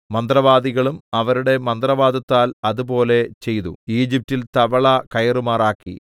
മന്ത്രവാദികളും അവരുടെ മന്ത്രവാദത്താൽ അതുപോലെ ചെയ്തു ഈജിപ്റ്റിൽ തവള കയറുമാറാക്കി